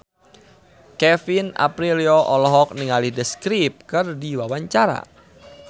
Kevin Aprilio olohok ningali The Script keur diwawancara